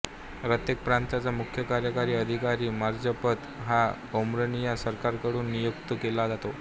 रत्येक प्रांताचा मुख्य कार्यकारी अधिकारी मार्झपत हा आर्मेनिया सरकारकडून नियुक्त केला जातो